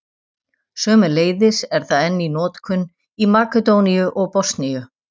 Sömuleiðis er það enn í notkun í Makedóníu og Bosníu.